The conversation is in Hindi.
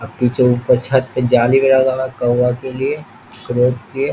अ पीछे ऊपर छत पे जाली गया कौवा के लिए क्रो के लिए।